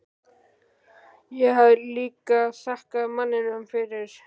Ég hafði líka þakkað manninum fyrir.